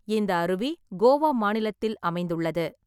இந்த அருவி கோவா மாநிலத்தில் அமைந்துள்ளது.